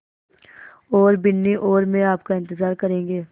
और बिन्नी और मैं आपका इन्तज़ार करेंगे